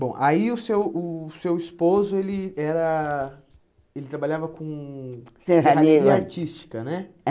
Bom, aí o seu o seu esposo ele era ele trabalhava com serralheiro serrania artística, né?